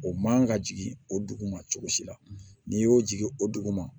O man ka jigin o dugu ma cogo si la n'i y'o jigin o dugu ma